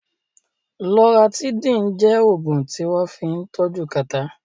Loratidín jẹ́ Ògùn tí wọ́n fín tọ́jú kàtá